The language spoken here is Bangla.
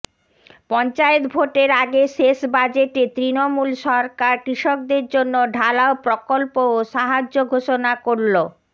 পঞ্চায়েত ভোটের আগে শেষ বাজেটে তৃণমূল সরকার কৃষকদের জন্য ঢালাও প্রকল্প ও সাহায্য ঘোষণা করল